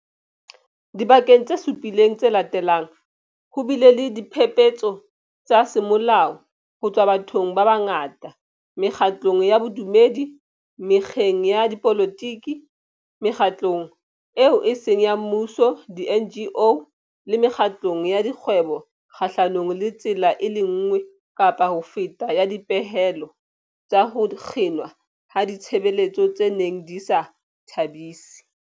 Dibekeng tse supileng tse latelang, ho bile le diphephetso tsa semolao ho tswa bathong ba bangata, mekgatlong ya bodumedi, mekgeng ya dipolotiki, Mekgatlong eo e Seng ya Mmuso di-NGO le mekgatlong ya dikgwebo kgahlanong le tsela e le nngwe kapa ho feta ya dipehelo tsa ho kginwa ha ditshebeletso tse neng di sa ba thabisi.